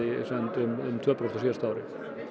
um tvö prósent á síðasta ári